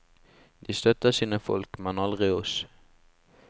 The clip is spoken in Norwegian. De støtter sine folk, men aldri oss.